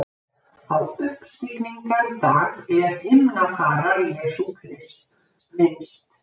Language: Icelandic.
Á uppstigningardag er himnafarar Jesú Krists minnst.